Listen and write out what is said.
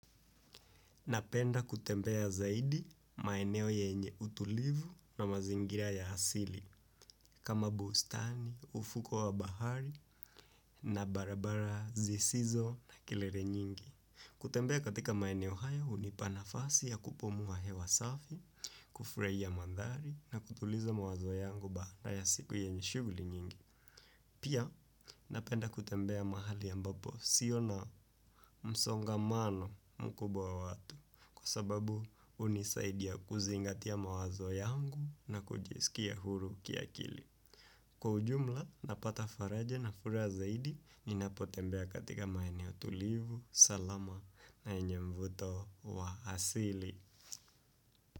Napenda kutembea zaidi maeneo yenye utulivu na mazingira ya asili kama bustani, ufuko wa bahari na barabara zisizo na kelele nyingi. Kutembea katika maeneo haya hunipa nafasi ya kupumua hewa safi, kufurahia mandhari na kutuliza mawazo yangu baada ya siku yenye shughuli nyingi. Pia napenda kutembea mahali ambapo sio na msongamano mkubwa wa watu kwa sababu hunisaidia kuzingatia mawazo yangu na kujisikia huru kiakili. Kwa ujumla napata faraja na furaha zaidi ninapotembea katika maeneo tulivu salama na mvuto wa asili.